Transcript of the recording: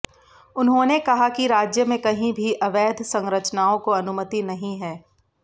उन्होंने कहा कि राज्य में कहीं भी अवैध संरचनाओं को अनुमति नहीं है